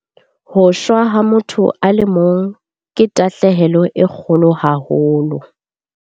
Ho shwa ha motho a le mong ke tahlehelo e kgolo haholo.